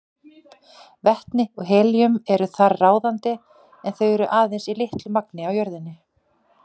Vetni og helíum eru þar ráðandi en þau eru aðeins í litlu magni á jörðinni.